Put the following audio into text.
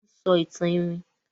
Wón ń sọ ìtàn iwin.